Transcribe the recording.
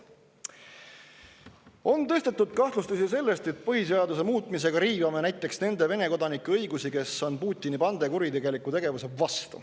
On üles tõstetud kahtlustusi sellest, et põhiseaduse muutmisega riivame nende Vene kodanike õigusi, kes on Putini bande kuritegeliku tegevuse vastu.